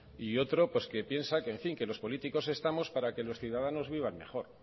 y otro que piensa que en fin que los políticos estamos para que los ciudadanos vivan mejor